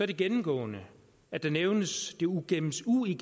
det gennemgående at der nævnes det uigennemskuelige